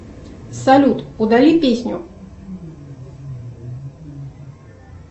салют удали песню